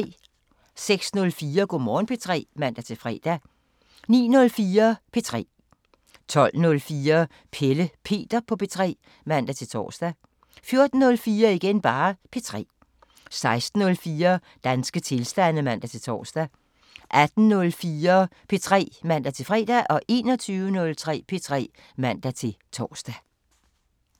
06:04: Go' Morgen P3 (man-fre) 09:04: P3 12:04: Pelle Peter på P3 (man-tor) 14:04: P3 16:04: Danske tilstande (man-tor) 18:04: P3 (man-fre) 21:03: P3 (man-tor)